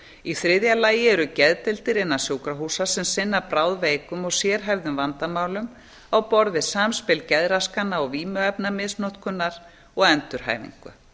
í þriðja lagi eru geðdeildir innan sjúkrahúsa sem sinna bráðveikum og sérhæfðum vandamálum á borð við samspil geðraskana og vímuefnamisnotkunar og endurhæfingu